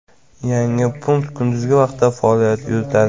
Yangi punkt kunduzgi vaqtda faoliyat yuritadi.